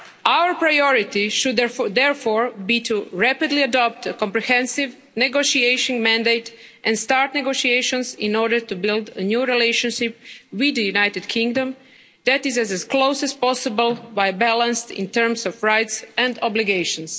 Our priority should, therefore, be to rapidly adopt a comprehensive negotiation mandate and start negotiations in order to build a new relationship with the United Kingdom that is as close as possible but balanced in terms of rights and obligations.